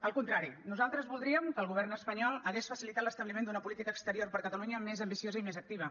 al contrari nosaltres voldríem que el govern espanyol hagués facilitat l’esta bliment d’una política exterior per a catalunya més ambiciosa i més activa